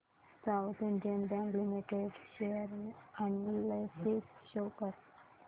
south Indian bank limited share analysis show कर